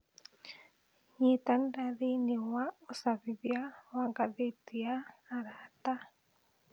Nyitanĩra thĩinĩ wa ũcabithia wa ngathĩti ya arata